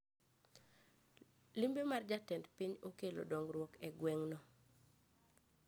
Limbe mar jatend piny okelo dongruok e gweng no